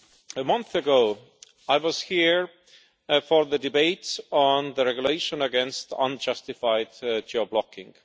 A month ago, I was here for the debates on the regulation against unjustified geo blocking.